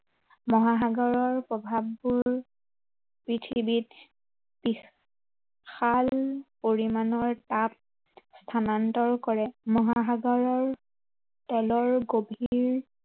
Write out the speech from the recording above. মহাসাগৰৰ প্ৰভাৱবোৰ পৃথিৱীত বিশাল পৰিমাণৰ, তাপ স্থানান্তৰ কৰে। মহাসাগৰৰ তলৰ গভীৰ